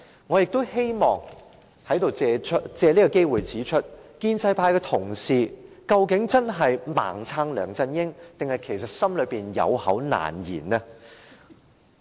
我也希望借此機會問一問，究竟建制派同事真是"盲撐"梁振英，還是有口難言？